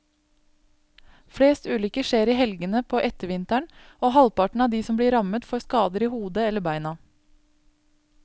Flest ulykker skjer i helgene på ettervinteren, og halvparten av de som blir rammet får skader i hodet eller beina.